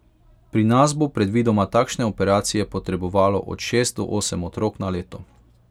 Pri nas bo predvidoma takšne operacije potrebovalo od šest do osem otrok na leto.